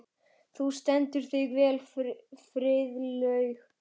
Þú stendur þig vel, Friðlaug!